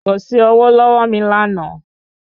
Kò sí ọwó lọ́wọ́ mi lánàá